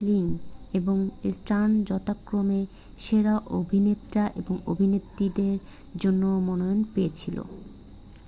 Gosling এবং Stone যথাক্রমে সেরা অভিনেতা ও অভিনেত্রীর জন্য মনোনয়ন পেয়েছিলেন